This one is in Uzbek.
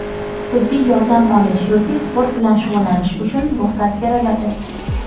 tibbiy yordam olish yoki sport bilan shug‘ullanish uchun ruxsat beriladi.